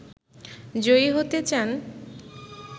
জয়ী হতে চান